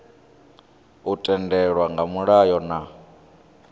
u tendelwa nga mulayo na